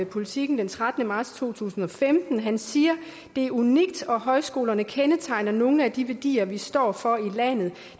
politiken den trettende marts to tusind og femten han siger det er unikt og højskolerne kendetegner nogle af de værdier vi står for i landet